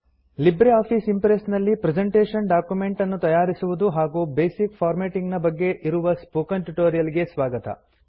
LibreOffice Impress ನಲ್ಲಿ presentation document ಅನ್ನು ತಯಾರಿಸುವುದು ಮತ್ತು ಬೇಸಿಕ್ ಫಾರ್ಮ್ಯಾಟಿಂಗ್ ನ ಬಗ್ಗೆ ಇರುವ ಸ್ಪೋಕನ್ ಟ್ಯುಟೋರಿಯಲ್ ಗೆ ಸ್ವಾಗತ